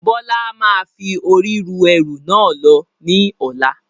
Bọlá máa fi ori ru ẹrú náà lọ ní ọ̀la.